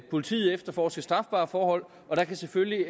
politiet at efterforske strafbare forhold og der kan selvfølgelig